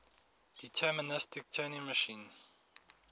deterministic turing machine